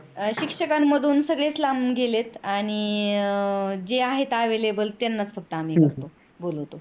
शिक्षकामधन सगळेच लांब गेलेत आणि जे आहेत available त्यांच्यानाच आम्ही हे करतो बोलावतो.